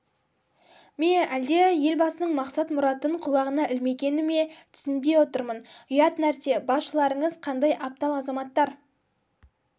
ме әлде елбасының мақсат-мұратын құлағына ілмегені ме түсінбей отырмын ұят нәрсе басшыларыңыз қандай аптал азаматтар